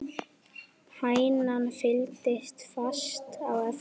Hænan fylgdi fast á eftir.